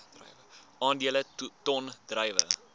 aandele ton druiwe